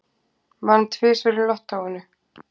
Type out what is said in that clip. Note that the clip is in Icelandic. Vann tvisvar í lottóinu